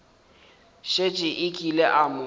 šetše a kile a mo